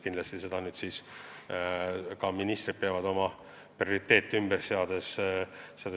Kindlasti peavad ministrid sel juhul oma prioriteete ümber seadma.